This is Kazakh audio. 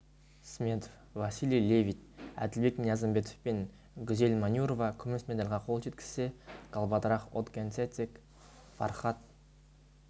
сметов василий левит әділбек ниязымбетов пен гүзел манюрова күміс медальға қол жеткізсе галбадрах отгонцэцэг фархад